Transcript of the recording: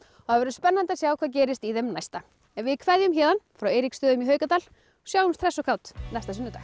það verður spennandi að sjá hvað gerist í þeim næsta en við kveðjum héðan frá Eiríksstöðum í Haukadal og sjáumst hress og kát næsta sunnudag